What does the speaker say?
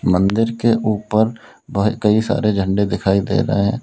मंदिर के ऊपर कई सारे झंडे दिखाई दे रहे हैं।